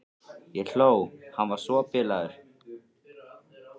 Ég hló, hann var svo bilaður.